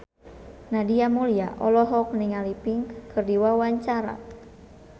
Nadia Mulya olohok ningali Pink keur diwawancara